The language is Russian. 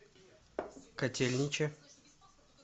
котельниче